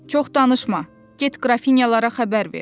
Çox danışma, get qrafinyalara xəbər ver.